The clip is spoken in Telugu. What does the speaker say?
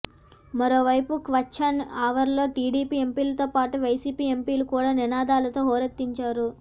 మరోవైపు క్వశ్చన్ అవర్లో టీడీపీ ఎంపీలతో పాటు వైసీపీ ఎంపీలు కూడా నినాదాలతో హోరెత్తించారు